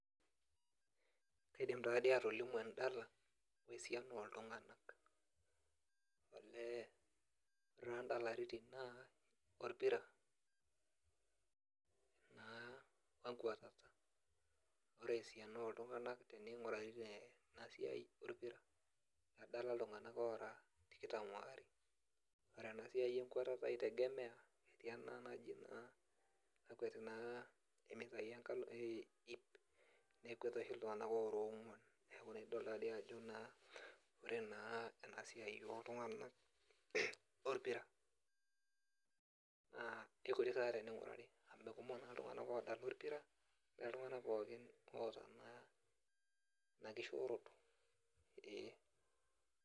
Kaidim taa dii atolimu endala wesiana oltung'anak olee ore taa indalaritin naa orpira naa enkuatata ore esiana oltung'anak tening'urari tena siai orpira peedala iltung'anak oora tikitam waare ore ena siai enkutata itegemeya etii ena naji naa nakueti naa imitai enkalo e iip nekwet oshi iltung'anak oora ong'uan neeku idol taadi ajo naa ore naa ena siai oltung'anak orpira naa ikutik sa tening'urari amu mekumok naa iltung'anak odala orpira ore iltung'anak pookin oota naa ina kishoroto eeh.